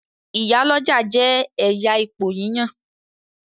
Ìyál'ọ́jà jẹ ẹyà ipò yíyan